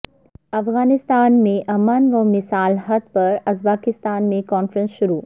افغانستان میں امن و مصالحت پر ازبکستان میں کانفرنس شروع